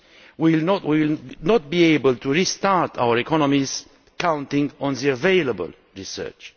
We will not be able to restart our economies counting on the available research.